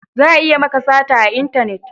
Za a iya maka sata a intanet